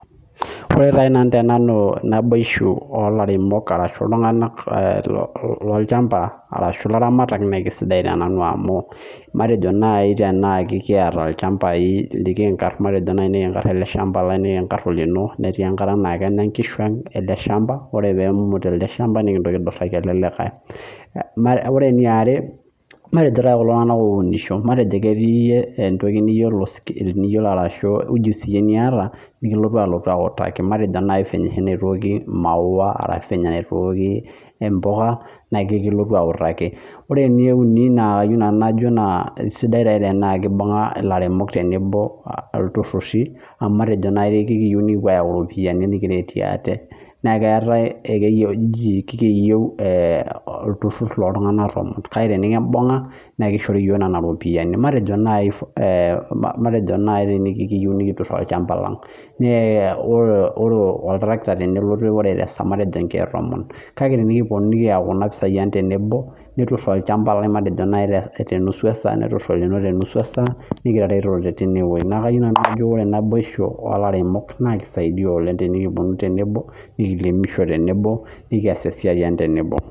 Ore taa nai te nanu naboisho oolairemok arashu iltunganak lolchamba arashu ilaramatak naa kesidai te nanu amuu matejo nai teneaku ekieta ilchambai likiinkar matejo taanai nikiinkar ale ilchamba lai, nikiinkar olino, netii enkata naa kenya enkishu aang' ale ilshamba ,ore peemut alde ilshamba nikintoki aiduraki alde likae. Ore neare matejo taata kuldo tunganak ounisho, matejio ketii entoki niyiolo arashu ujusi iyie nieta nilotu aotu autaki matejo nai penye oshi neitooki ilmaua arashu penye oshi neitooki embuka naa kekiotu autaki. Ore neuni naa kajo nanu najo naa esidai teneaku keibung'a ilairemok tenebo ilturruri matejo nai ekeyeu nikipuo aayau iropiyiani, nikiretie ate, naa keatae ekeyeu ochi olturrur looltungana kake tenikimbung'a naa keishori yoo nena iropiyiani, matejo nai tenekiyeu nikiturr olchamba lang'. Naa ore oltarakta tenelotu ore tesaa matejo nkeek tomon kake tenikiponu nikiyau kuna mpisai aang' tenebo neturr olchamba lang' matejo nai tenusu esaa ashu tenusu esaa niketa ereteto teineweji, naaku kayeu nanu najo ore naboisho oolarenok naa keisaidia oleng tenikiponu temebo nikiremisho tenebo, nikias esiai aang' tenebo.